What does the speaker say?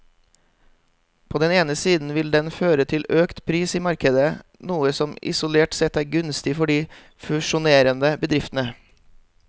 På den ene siden vil den føre til økt pris i markedet, noe som isolert sett er gunstig for de fusjonerende bedriftene.